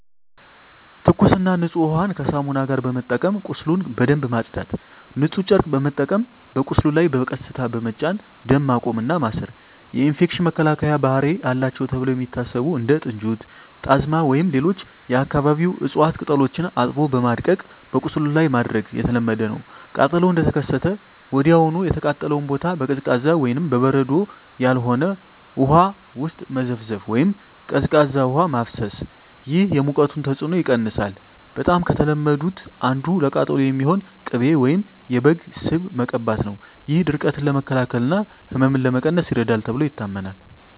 ትኩስና ንጹህ ውሃን ከሳሙና ጋር በመጠቀም ቁስሉን በደንብ ማጽዳት። ንጹህ ጨርቅ በመጠቀም በቁስሉ ላይ በቀስታ በመጫን ደም ማቆም እና ማሰር። የኢንፌክሽን መከላከያ ባህሪ አላቸው ተብለው የሚታሰቡ እንደ ጥንጁት፣ ጣዝማ ወይም ሌሎች የአካባቢው እፅዋት ቅጠሎችን አጥቦ በማድቀቅ በቁስሉ ላይ ማድረግ የተለመደ ነው። ቃጠሎው እንደተከሰተ ወዲያውኑ የተቃጠለውን ቦታ በቀዝቃዛ (በበረዶ ያልሆነ) ውሃ ውስጥ መዘፍዘፍ ወይም ቀዝቃዛ ውሃ ማፍሰስ። ይህ የሙቀቱን ተጽዕኖ ይቀንሳል። በጣም ከተለመዱት አንዱ ለቃጠሎ የሚሆን ቅቤ ወይም የበግ ስብ መቀባት ነው። ይህ ድርቀትን ለመከላከል እና ህመምን ለመቀነስ ይረዳል ተብሎ ይታመናል።